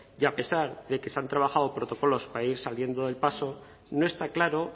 y a pesar de que se han trabajado protocolos para ir saliendo del paso no está claro